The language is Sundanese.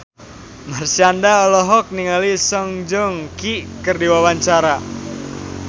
Marshanda olohok ningali Song Joong Ki keur diwawancara